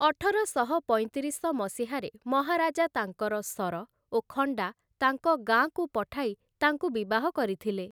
ଅଠରଶହ ପଇଁତିରିଶ ମସିହାରେ ମହାରାଜା ତାଙ୍କର ଶର ଓ ଖଣ୍ଡା ତାଙ୍କ ଗାଁକୁ ପଠାଇ ତାଙ୍କୁ ବିବାହ କରିଥିଲେ ।